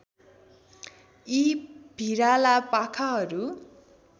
यी भिराला पाखाहरू